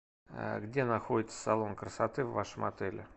где находится салон красоты в вашем отеле